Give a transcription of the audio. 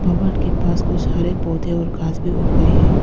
के पास कुछ हरे पौधे और घास भी उग गई है।